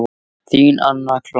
Þín, Anna Clara.